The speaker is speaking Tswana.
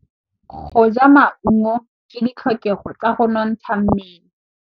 Go ja maungo ke ditlhokegô tsa go nontsha mmele.